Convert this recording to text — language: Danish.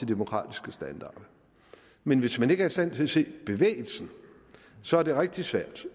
demokratiske standarder men hvis man ikke er i stand til at se bevægelsen så er det rigtig svært